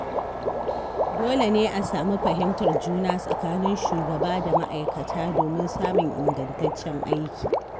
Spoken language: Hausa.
Dole ne a sami fahimtar juna tsakanin shugaba da ma’aikata domin samun ingantaccen aiki.